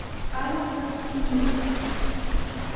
павел ковпинец